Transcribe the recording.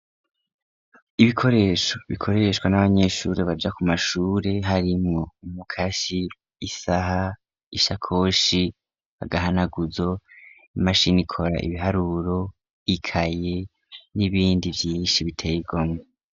Ibikoresho bikoreshwa n'abanyeshure baja kuma shure harimwo umukasi, isaha, isakoshi, agahanaguzo, imashin'ikora ibiharuro, ikaye n'ibindi vyinshi bitey'igomwe.